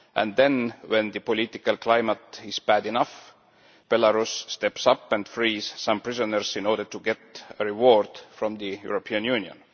Then, when the political climate is bad enough, Belarus steps up and frees some prisoners in order to get a reward from the European Union.